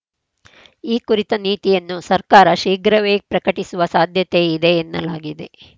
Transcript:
ಈ ಕುರಿತ ನೀತಿಯನ್ನು ಸರ್ಕಾರ ಶೀಘ್ರವೇ ಪ್ರಕಟಿಸುವ ಸಾಧ್ಯತೆ ಇದೆ ಎನ್ನಲಾಗಿದೆ